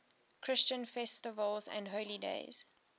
christian festivals and holy days